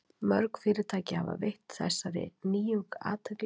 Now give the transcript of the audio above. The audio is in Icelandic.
mörg fyrirtæki hafa veitt þessari nýjung athygli